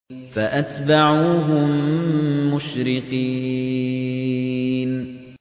فَأَتْبَعُوهُم مُّشْرِقِينَ